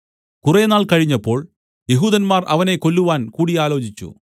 കുറേനാൾ കഴിഞ്ഞപ്പോൾ യെഹൂദന്മാർ അവനെ കൊല്ലുവാൻ കൂടിയാലോചിച്ചു